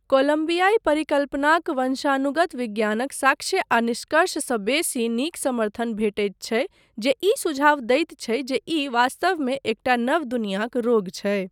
कोलम्बियाई परिकल्पनाक वंशानुगत विज्ञानक साक्ष्य आ निष्कर्ष सँ बेसी नीक समर्थन भेटैत छै जे ई सुझाव दैत छै जे ई, वास्तवमे, एकटा नव दुनियाक रोग छै।